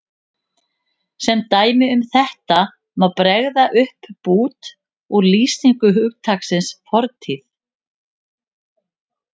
Sem dæmi um þetta má bregða upp bút úr lýsingu hugtaksins fortíð